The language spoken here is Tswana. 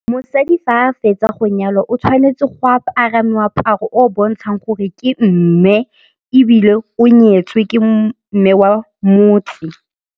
Mosadi fa a fetsa go nyalwa o tshwanetse go apara moaparo o o bontshang gore ke mme ebile o nyetswe ke mme wa motse.